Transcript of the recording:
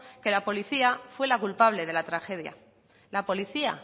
que la policía fue la culpable de la tragedia la policía